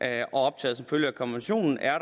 er optaget som følge af konventionen er